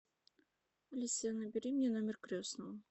алиса набери мне номер крестного